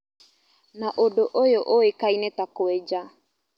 Na ũndũ ũyũ ũĩkaine ta kwenja